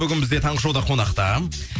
бүгін бізде таңғы шоуда қонақта